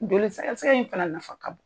in fana nafa ka bon.